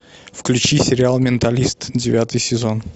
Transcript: включи сериал менталист девятый сезон